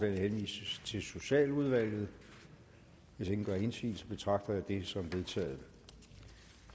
henvises til socialudvalget hvis ingen gør indsigelse betragter jeg det som vedtaget